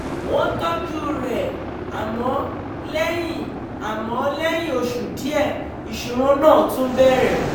wọ́n tọ́jú rẹ̀ àmọ́ lẹ́yìn àmọ́ lẹ́yìn oṣù díẹ̀ ìṣòro náà tún bẹ̀rẹ̀